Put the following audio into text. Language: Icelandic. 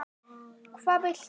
Hvað viltu?